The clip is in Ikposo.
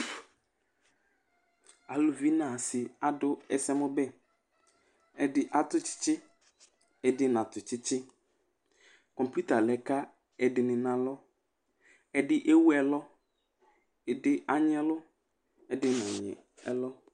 Aluvi nu asi adu ɛsɛmu bɛ ɛdi atu tsitsi ɛdi natu tsitsi kɔpita lɛ ka ɛdini na alɔ ɛdi éwu ɛlɔ ɛdi anyi ɛlɔ ɛdi né wu ɛlɔ